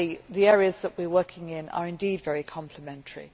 Actually the areas that we are working in are indeed very complementary.